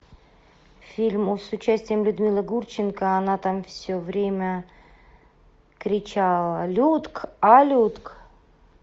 фильм с участием людмилы гурченко она там все время кричала людк а людк